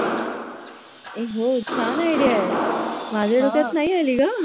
ए हो छान Idea आहे माझ्या डोक्यात नाही आली ग